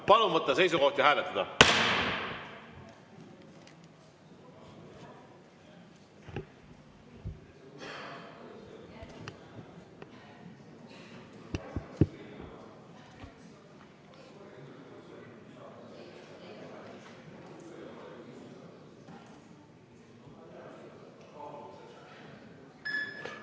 Palun võtta seisukoht ja hääletada!